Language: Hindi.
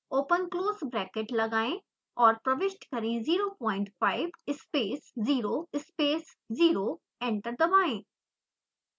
ओपन क्लोज़ ब्रैकेट लगाएं और प्रविष्ट करें 05 space 0 space 0 एंटर दबाएं